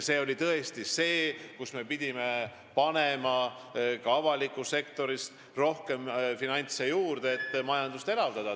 Siis oli tõesti nii, et me pidime ka avalikku sektorisse rohkem finantse juurde panema, et majandust elavdada.